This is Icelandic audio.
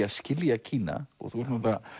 að skilja Kína og þú ert